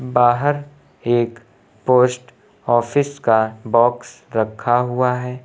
बाहर एक post office का बॉक्स रखा हुआ है।